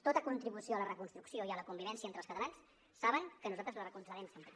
tota contribució a la reconstrucció i a la convivència entre els catalans saben que nosaltres la recolzarem sempre